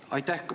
Aitäh!